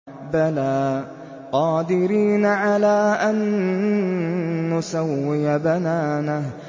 بَلَىٰ قَادِرِينَ عَلَىٰ أَن نُّسَوِّيَ بَنَانَهُ